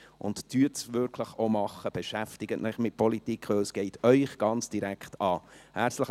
Und tun Sie es auch wirklich, beschäftigen Sie sich mit Politik, denn es geht Sie ganz direkt an.